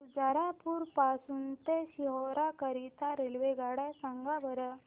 शुजालपुर पासून ते सीहोर करीता रेल्वेगाड्या सांगा बरं